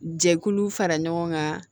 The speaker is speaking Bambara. Jɛkulu fara ɲɔgɔn kan